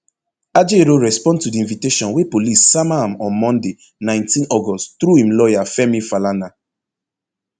ajaero respond to di invitation wey police sama am on monday nineteen august through im lawyer femi falana